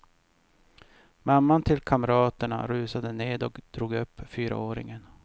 Mamman till kamraterna rusade ned och drog upp fyraåringen.